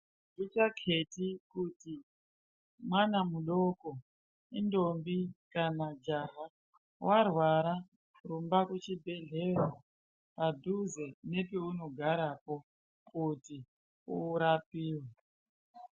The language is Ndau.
Zvisinei kuti mwana mudoko indombi kana kuti jaha warwara rumba kuchibhedhlera padhuze nepaunogarapo kuti urapiwe .